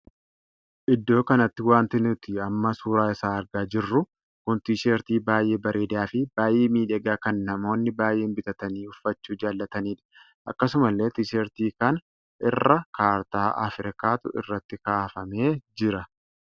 Iddoo kanatti wanti nuti amma suuraa isaa argaa jirru kun tisheertii baay'ee bareedaa fi baay'ee miidhagaa kan namoonni baay'een bitatanii uffachuu jaallatanidha. akkasuma illee tisheertii kana irra kaartaa Afrikaatu irratti kaafamee jira.